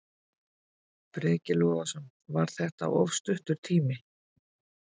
Breki Logason: Var þetta of stuttur tími?